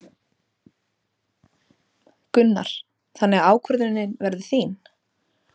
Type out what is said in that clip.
Gunnar: Þannig að ákvörðunin verður þín?